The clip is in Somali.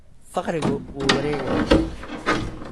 Faqrigu wuu wareegayaa.